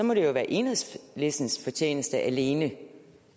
må det være enhedslistens fortjeneste alene